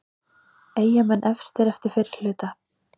Eyjamenn efstir eftir fyrri hluta